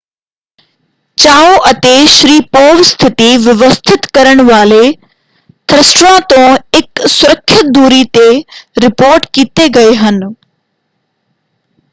ਚਾਓ ਅਤੇ ਸ਼ਰੀਪੋਵ ਸਥਿਤੀ ਵਿਵਸਥਿਤ ਕਰਨ ਵਾਲੇ ਥ੍ਰਸਟਰਾਂ ਤੋਂ ਇੱਕ ਸੁਰੱਖਿਅਤ ਦੂਰੀ ‘ਤੇ ਰਿਪੋਰਟ ਕੀਤੇ ਗਏ ਹਨ।